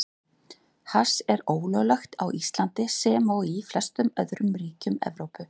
Hass er ólöglegt á Íslandi, sem og í flestum öðrum ríkjum Evrópu.